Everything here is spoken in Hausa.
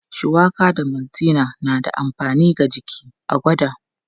Shuwaka da maltina na da amfani ga jiki, a gwada.